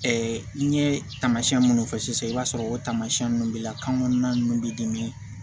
n ye taamasiyɛn minnu fɔ sisan i b'a sɔrɔ o tamasiyɛn ninnu b'i la kan kɔnɔna ninnu bɛ dimi